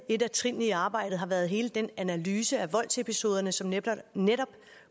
et af trinene i arbejdet har været hele den analyse af voldsepisoderne som netop netop